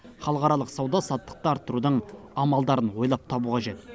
халықаралық сауда саттықты арттырудың амалдарын ойлап табу қажет